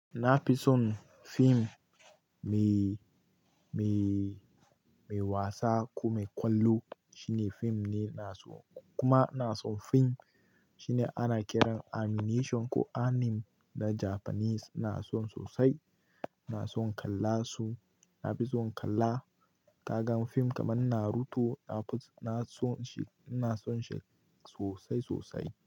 Na fi son fim mai, mai, mai wasa ko mai ƙwallo. Shine fim ne ina so kuma ina son fim shi ne ana kiran animation ko anime na Japanese. Ina son sosai, ina son kalla su. Na fi son kalla. Ka gan fim kamar Naruto, na fi, na son shi, ina son shi sosai sosai.